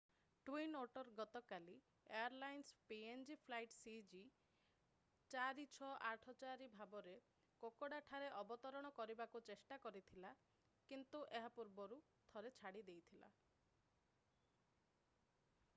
twin otter ଗତକାଲି airlines PNG flight ସିଜି4684 ଭାବରେ କୋକୋଡାଠାରେ ଅବତରଣ କରିବାକୁ ଚେଷ୍ଟା କରିଥିଲା କିନ୍ତୁ ଏହା ପୂର୍ବରୁ ଥରେ ଛାଡ଼ି ଦେଇଥିଲା